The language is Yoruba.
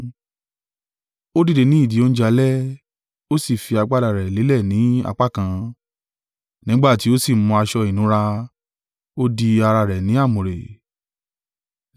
Ó dìde ní ìdí oúnjẹ alẹ́, ó sì fi agbádá rẹ̀ lélẹ̀ ní apá kan; nígbà tí ó sì mú aṣọ ìnura, ó di ara rẹ̀ ní àmùrè.